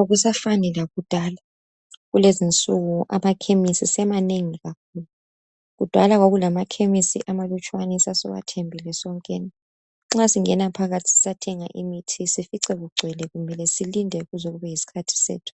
Akusafani lakudala kulezi insuku amakhemisi semanengi kakhulu. Kudala kwakulamakhemisi amalutshwane esasiwathembile sonkeni nxa singena phakathi sisiyathenga imithi ufice kugcwele ulinde kuzekufike esakho isikhathi.